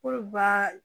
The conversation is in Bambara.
Olu baa